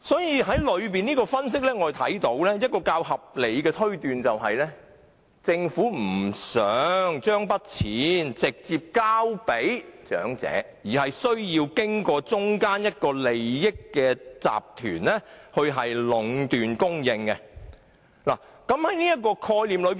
由此分析，較合理的推斷是政府不想將錢直接交到長者手中，而想將錢交到中間的利益集團手中，讓他們作出壟斷。